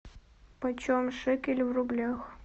почем шекели в рублях